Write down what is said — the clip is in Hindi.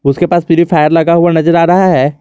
उसके पास प्युरीफायर लगा हुआ नजर आ रहा है।